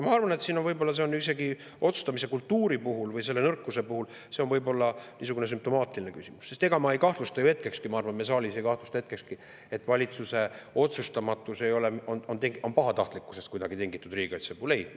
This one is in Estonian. Ma arvan, et võib-olla on see isegi otsustamise kultuuri puhul või selle nõrkuse puhul niisugune sümptomaatiline küsimus, sest ega ma ei kahtlusta ju hetkekski ja ma arvan, et keegi siin saalis ei kahtlusta hetkekski, et valitsuse otsustamatus riigikaitse puhul on kuidagi tingitud pahatahtlikkusest.